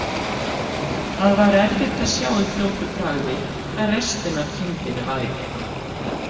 Það var erfitt að sjá í fljótu bragði hvar restin af kindinni væri.